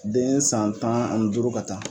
Den san tan ani duuru ka taa